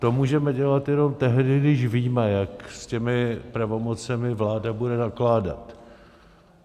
To můžeme dělat jenom tehdy, když víme, jak s těmi pravomocemi vláda bude nakládat.